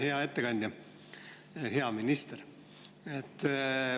Hea ettekandja, hea minister!